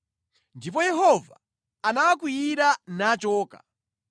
Ndipo Yehova anawakwiyira, nachoka.